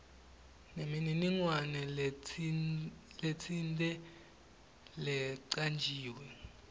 nemininingwane letsite lecanjiwe